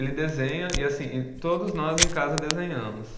Ele desenha e assim, e todos nós em casa desenhamos.